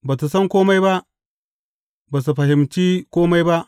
Ba su san kome ba, ba su fahimci kome ba.